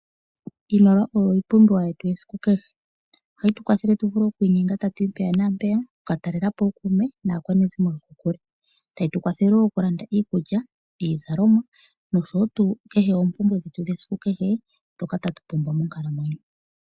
Iimaliwa oyo iipumbiwa yetu yesiku kehe. ohayi tu kwathele tu vule okwiinyenga tatu yi mpano naampeya okuka talepo ookume naakwanezimo lyetu. Tayi tu kwathele wo okulanda iikulya iizalomwa oshowo tuu kehe oopumbwe dhetu dhesiku kehe ndhoka tatu pumbwa monkalamwenyo.